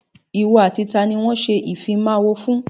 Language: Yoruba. Ìwọ àti taàní wọn ṣe ìfimawo fún?